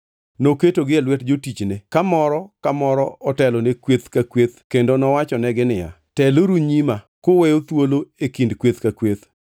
Noketogi e lwet jotichne ka moro ka moro otelone kweth ka kweth kendo nowachonegi niya, “Teluru nyima kuweyo thuolo e kind kweth ka kweth.”